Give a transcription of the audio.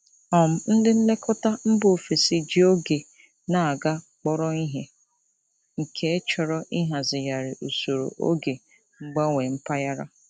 um Ndị nlekọta mba ofesi ji oge na-aga kpọrọ ihe, nke chọrọ ịhazigharị usoro oge mgbanwe mpaghara.